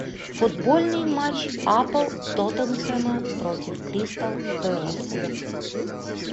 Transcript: футбольный матч апл тоттенхэма против кристал пэласа